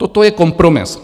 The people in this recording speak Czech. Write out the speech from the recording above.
Toto je kompromis.